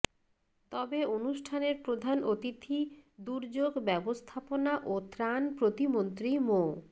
তবে অনুষ্ঠানের প্রধান অতিথি দুর্যোগ ব্যবস্থাপনা ও ত্রাণ প্রতিমন্ত্রী মো